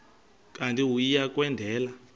kanti uia kwendela